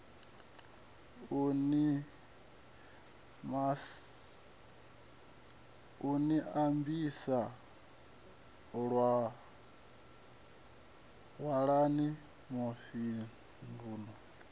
u ni ambisa walani mufhindulano